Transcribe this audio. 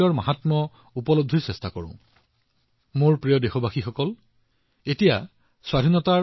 আমাৰ উপাসনাৰ উদ্দেশ্য এয়া হব লাগে যে আমি দক্ষতাৰ গুৰুত্ব বুজি পাম আৰু দক্ষসকলকো তেওঁলোকে যিয়েই কাম নকৰক কিয় তেওঁলোকক সম্পূৰ্ণ সন্মান দিব লাগে